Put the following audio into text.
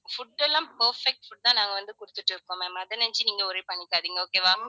food எல்லாம் perfect food தான் நாங்க வந்து குடுத்துட்டு இருக்கோம் ma'am அத நினைச்சி நீங்க worry பண்ணிக்காதீங்க okay வா